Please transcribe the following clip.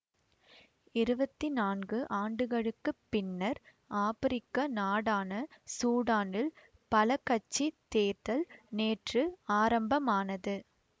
இருவத்தி நான்கு ஆண்டுகளுக்கு பின்னர் ஆப்பிரிக்க நாடான சூடானில் பலகட்சித் தேர்தல் நேற்று ஆரம்பமானது